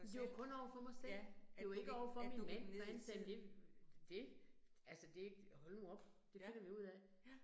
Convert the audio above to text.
Det var kun overfor mig selv, det var ikke overfor min mand, for han nemlig det altså det hold nu op, det finder vi ud af